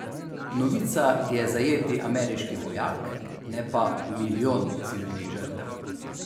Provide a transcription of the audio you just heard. Novica je zajeti ameriški vojak, ne pa milijon civilnih žrtev.